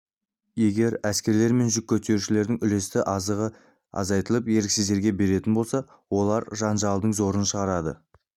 егер әскерлер мен жүк көтерушілердің үлесті азығы азайтылып еріксіздерге беретін болса олар жанжалдың зорын шығарады